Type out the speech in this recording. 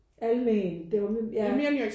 Almen ja